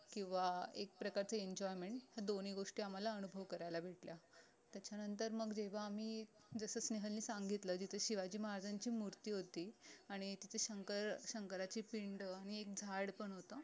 किंवा एक प्रकारचे enjoyment ह्या दोन्ही गोष्टी आम्हाला अनुभव करायला भेटल्या त्याच्यानंतर मग जेव्हा आम्ही जस स्नेहल ने सांगितलं जिथे शिवाजी महाराजांची मूर्ती होती आणि तिथे शंकर शंकराची पिंड आणि एक झाड पण होत